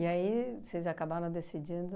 aí vocês acabaram decidindo...